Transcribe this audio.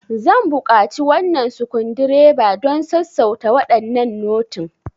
Zan buƙaci wannan sukundireba don sassauta waɗannan notin.